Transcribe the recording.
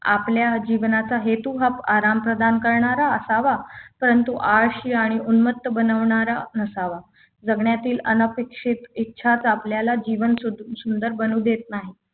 आपल्या जीवनाचा हेतू हा आराम प्रदान करणारा असावा परंतु आळशी आणि उन्मत्त बनवणारा नसावा जगण्यातील अनपेक्षित इच्छाच आपल्याला जीवन सुधरू सुंदर बनवू देत नाहीत